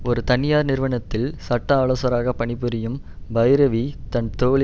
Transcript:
ஒரு தனியார் நிறுவனத்தில் சட்ட ஆலோசகராக பணிபுரியும் பைரவி தன் தோழி